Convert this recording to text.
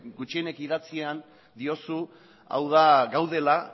gutxienez idatzian diozu hau da gaudela